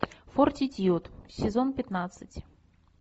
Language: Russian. фортитьюд сезон пятнадцать